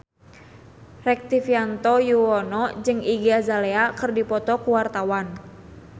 Rektivianto Yoewono jeung Iggy Azalea keur dipoto ku wartawan